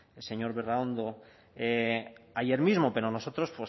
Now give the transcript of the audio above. el señor berraondo ayer mismo pero nosotros